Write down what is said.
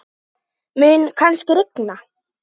Mun kannski rigna?